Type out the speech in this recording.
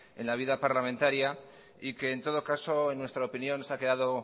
en la vida parlamentaria y que en todo caso en nuestra opinión se ha quedado